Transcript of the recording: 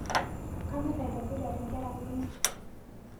Kanyor atoboitere nkera kunini